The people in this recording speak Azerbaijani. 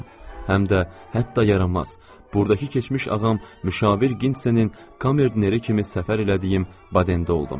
Həm də hətta yaramaz burdakı keçmiş ağam müşavir Ginitsenin komerdineri kimi səfər elədiyim Badendə oldum.